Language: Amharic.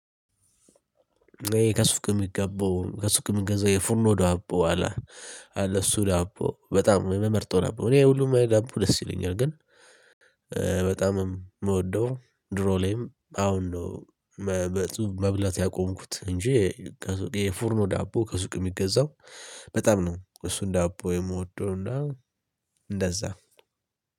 ከሱቅምሚገቡ ከሱቅ ምገዛው ይሄ ፉርኖ ዳቦ አለ እሱ ዳቦ በጣም የምመርጠው ዳቦ እኔ ሁሉም ላይ ዳቦ ደስ ይለኛል። ግን በጣም የምወደው ድሮ ላይም አሁን ነው። መብላት መብላት ያቆምኩት እንጂ የፉርኖ ዳቦ ከሱቅ የሚገዛው በጣም ነው። እሱን ዳቦ የምወደው እና እንደዛ።